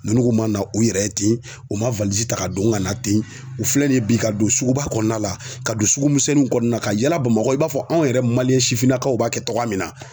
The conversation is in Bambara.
Nunnu ma na u yɛrɛ ye ten u ma ta ka don ŋana ten u filɛ nin ye bi ka don suguba kɔɔna la ka don sugu misɛnnunw kɔɔna ka yaala Bamakɔ i b'a fɔ anw yɛrɛ sifinnakaw b'a kɛ tɔgɔya min na.